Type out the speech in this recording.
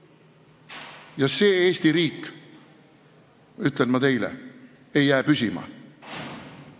Ja see Eesti riik, ütlen ma teile, ei jää püsima.